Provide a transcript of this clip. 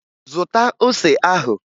Zụta ose ahụ!